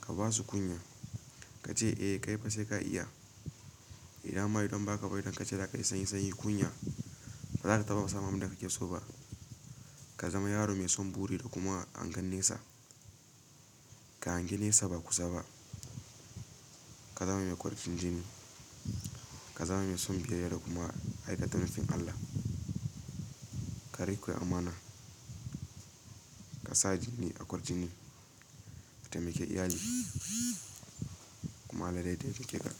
Ka basu kunya, ka ce eh kai fa sai ka iya. Idan ma idan ba haka ba idan ka ce za kai sanyi-sanyi kunya, ba za ka taɓa samun abin da kake so ba. Ka zama yaro mai son buri da kuma hangen nesa. Ka hangi nesa ba kusa ba. Ka zama mai ƙwardin jini. Ka zama mai son biyayya da kuma aikata nufin Allah. Ka riƙe amana. Ka sa jini a ƙwarjini. Taimake iyali kai ma Allah zai taimake ka.